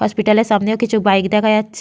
হসপিটালের সামনেও কিছু বাইক দেখা যাচ্ছে।